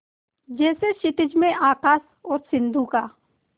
जैसे क्षितिज में आकाश और सिंधु का